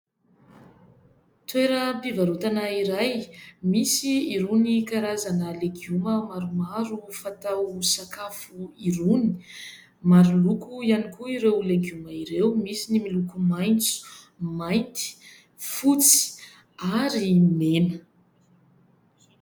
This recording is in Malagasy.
Toeram-pivarotana iray misy irony karazana legioma maromaro fatao sakafo irony. Maro loko ihany koa ireo legioma ireo : misy ny miloko maitso, mainty, fotsy ary mena.